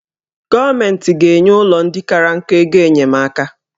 Gọọmenti ga-enye ụlọ ndị kara nka ego enyemaka